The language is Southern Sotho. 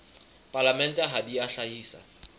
palamente ha di a hlahisa